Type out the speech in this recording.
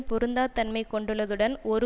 பொருந்தா தன்மை கொண்டுள்ளதுடன் ஒரு